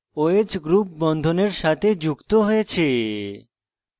oh group বন্ধনের সাথে যুক্ত হয়েছে